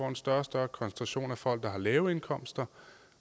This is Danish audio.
en større og større koncentration af folk lave indkomster